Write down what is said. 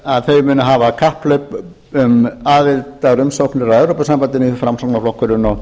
að þau muni hafa kapphlaup um aðildarumsóknir að evrópusambandinu framsóknarflokkurinn og